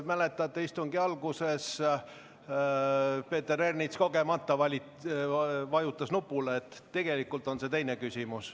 Mäletate, istungi alguses vajutas Peeter Ernits kogemata nuppu, tegelikult on see tal teine küsimus.